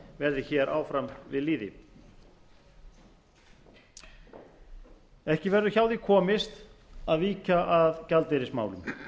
verði hér áfram við lýði ekki verður hjá því komist að víkja að gjaldeyrismálum